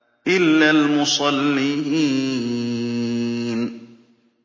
إِلَّا الْمُصَلِّينَ